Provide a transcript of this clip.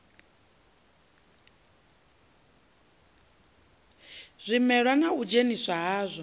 zwimela na u dzheniswa hadzwo